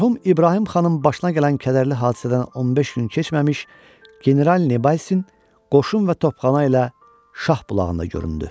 Mərhum İbrahim xanın başına gələn kədərli hadisədən 15 gün keçməmiş General Nebalsin qoşun və topxana ilə Şah bulağında göründü.